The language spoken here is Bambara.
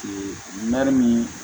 nɔni min